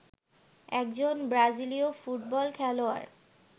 একজন ব্রাজিলীয় ফুটবল খেলোয়াড়